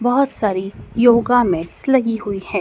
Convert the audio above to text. बहोत सारी yoga mats लगी हुई हैं।